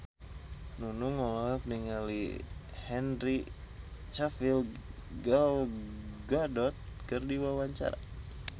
Nunung olohok ningali Henry Cavill Gal Gadot keur diwawancara